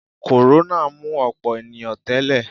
Kòrónà mú ọ̀pọ̀ ènìyàn tẹ́lẹ̀